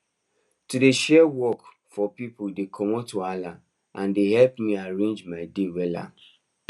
to dey share the work for pipu dey comot wahala and dey helep me arrange my day wella